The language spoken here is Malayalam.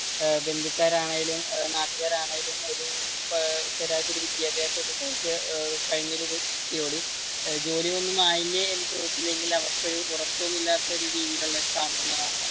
ബന്ധുക്കാരാണെങ്കിലും നാട്ടുക്കാരാണെങ്കിലും ഒരു ശരാശരി വിദ്യാഭ്യാസം കഴിഞ്ഞ ഒരു വ്യക്തിയോട് ജോലി ഒന്നും ആയില്ലേ ചോയിച്ചില്ലെങ്കിൽ അവർക്ക് ഒരു ഉറക്കമില്ലാത്ത രീതിയിൽ